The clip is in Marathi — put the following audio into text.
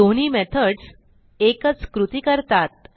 दोन्ही मेथडस एकच कृती करतात